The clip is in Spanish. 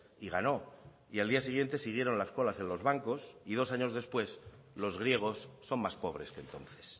y ganó y al día siguiente siguieron las colas en los bancos y dos años después los griegos son más pobres que entonces